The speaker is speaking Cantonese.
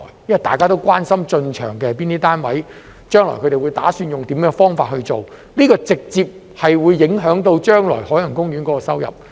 因為大家都關心是哪些單位進場，將來它們打算用甚麼方法運作，因這直接影響海洋公園將來的收入。